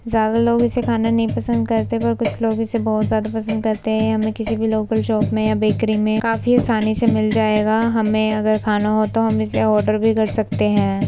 ज्यादा लोग इसे खाना पसंद नहीं करते हैं। पर कुछ लोग इसे बहोत ज्यादा पसंद करते हैं। हमें किसी भी लोकल शॉप में या बेकरी में आसानी से मिल जाएगा। हमें अगर इसे खाना हो तो हम ऑर्डर भी कर सकते हैं।